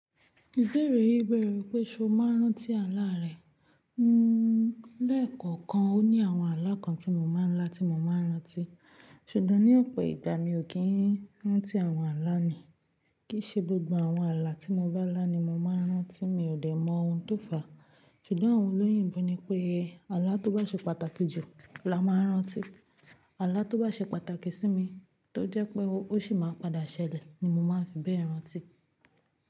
Ìbéèrè yí bẹ̀rẹ̀ wípé ṣé o máa ń rántí àlá rẹ? Nnnú lẹ́ẹ̀kọ̀kan ó ní àwọn àlá kan tí mo máa ń lá tí mo máa ń rántí. Ṣùgbọ́n ní ọ̀pọ̀ ìgbà mi ò kí ń rántí àwọn àlá mi. Kì í ṣe gbogbo àwọn àlá tí mo bá lá ni mo máa ń rántí, mi ò dẹ̀ mọ ohun tó fà á. Ṣùgbọ́n àwọn olóyìnbo ni pé àlá tó bá ṣe pàtàkì jù la máa ń rántí. Àlá tó bá ṣe pàtàkì sí mi, tó jẹ́ pé ó sì máa padà ṣẹlẹ̀ ni mo máa fi bẹ́ẹ̀ rántí.